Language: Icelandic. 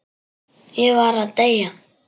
Ég var að deyja!